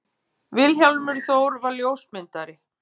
Vilhjálmur Þór var ljósmyndari.